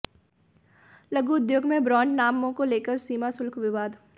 लघु उद्योग में ब्रांड नामों को लेकर सीमाशुल्क विवाद